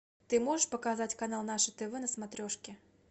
ты можешь показать канал наше тв на смотрешке